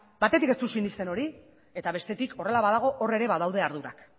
batetik ez dut sinesten hori eta bestetik horrela badago hor ere badaude ardurak